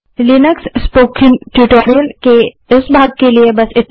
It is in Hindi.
लिनक्स स्पोकन ट्यूटोरियल के इस भाग के लिए बस इतना ही